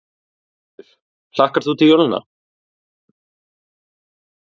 Sigríður: Hlakkar þú til jólanna?